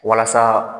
Walasa